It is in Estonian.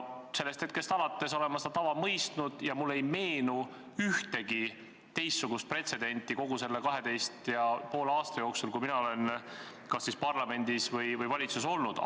Sellest hetkest alates olen ma seda tava mõistnud ja mulle ei meenu ühtegi teistsugust pretsedenti kogu selle 12 ja poole aasta jooksul, kui mina olen parlamendis või valitsuses olnud.